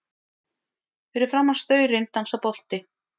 Fyrir framan staurinn dansar bolti.